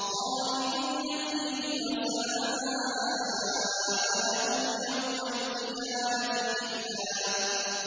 خَالِدِينَ فِيهِ ۖ وَسَاءَ لَهُمْ يَوْمَ الْقِيَامَةِ حِمْلًا